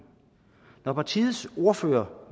partiets ordfører